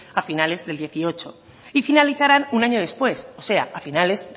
a finales del dos mil dieciocho y finalizarán un año después o sea a finales